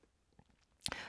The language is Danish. TV 2